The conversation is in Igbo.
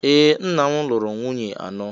Ee! Nna m lụrụ nwunye anọ.